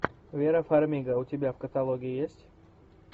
вера фармига у тебя в каталоге есть